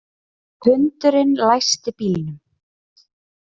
Hundurinn læsti bílnum